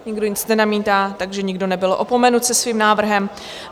Nikdo nic nenamítá, takže nikdo nebyl opomenut se svým návrhem.